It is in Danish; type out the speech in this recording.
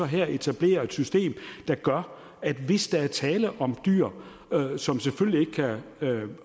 her etablere et system der gør at hvis der er tale om dyr som selvfølgelig ikke kan